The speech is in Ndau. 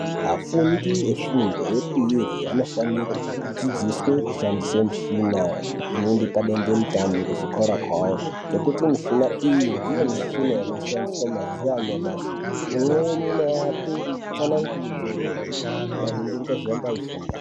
Afundi efundo yepiri anofanirwa kudzidziswe kushandise mushina inoende padande mutande kuzvikora kwavo ngekuti mushina iyi ndiyo mushina inoshandiswa mazuwa anyamashi imweni inovape tsanangudzo maringe ngezvaramba eifunda.